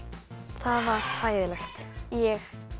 það var hræðilegt ég